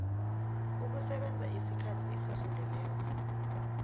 ukusebenza isikhathi esidluleleko